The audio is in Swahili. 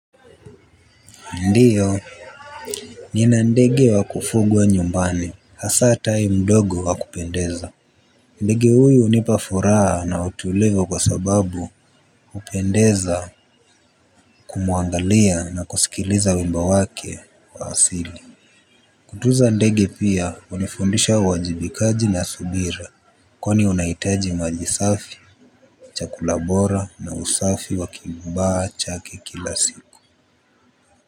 Ndiyo, nina ndege wa kufugwa nyumbani hasaa tai mdogo wa kupendeza ndege huyu unipafuraa na utulivu kwa sababu hupendeza kumwangalia na kusikiliza wimbo wake wa asili. Kutuza ndege pia unifundisha wajibikaji na subira. Kwani unahitaji majisafi chakula bora na usafi wa kimmba chake kila siku.